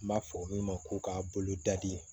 N b'a fɔ min ma ko ka bolo da di